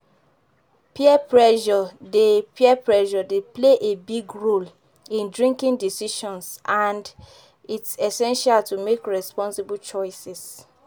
Peer pressure dey Peer pressure dey play a big role in drinking decisions and its essential to make responsible choices.